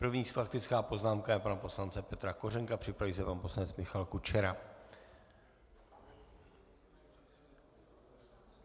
První faktická poznámka je pana poslance Petra Kořenka, připraví se pan poslanec Michal Kučera.